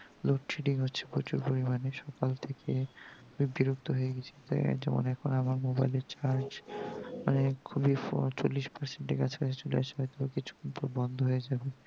loadshedding হচ্ছে প্রচুর পরিমানে সকাল থেকে খুব বিরক্ত হয়ে গেছি তাই আজ অনেক্ষন তোমার mobile এ charge খুলে ফ চল্লিশ present এর কাছাকছি চলে আসবে কিছুক্ষণ পর বন্ধ হয়ে যাবে